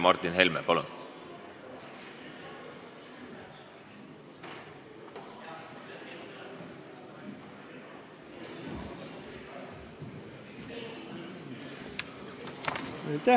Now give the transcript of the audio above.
Martin Helme, palun!